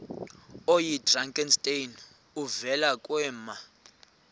oyidrakenstein uvele kwema